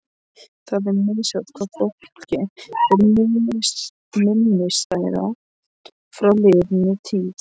Það er misjafnt hvað fólki er minnisstæðast frá liðinni tíð.